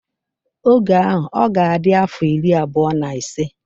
Oge ahụ ọ ga-adi afọ iri abụọ na ise.